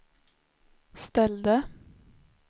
ställde